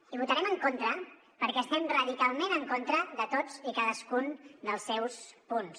hi votarem en contra perquè estem radicalment en contra de tots i cadascun dels seus punts